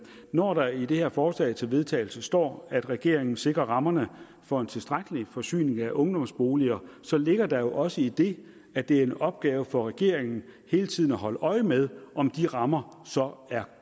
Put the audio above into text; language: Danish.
når der i det her forslag til vedtagelse står at regeringen sikrer rammerne for en tilstrækkelig forsyning af ungdomsboliger så ligger der jo også i det at det er en opgave for regeringen hele tiden at holde øje med om de rammer så er